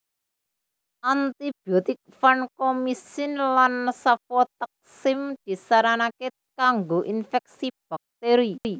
Antibiotik vankomisin lan sefotaksim disaranake kanggo infeksi bakteri